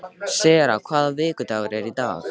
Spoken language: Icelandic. Sera, hvaða vikudagur er í dag?